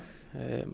en